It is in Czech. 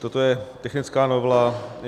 Toto je technická novela.